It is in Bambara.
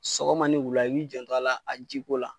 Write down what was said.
Sɔgɔma ni wula ,i b'i janto a la a ji ko la.